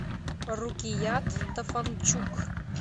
рукият тафанчук